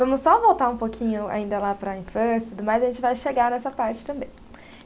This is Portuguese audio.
Vamos só voltar um pouquinho ainda lá para a infância tudo mais, a gente vai chegar nessa parte também.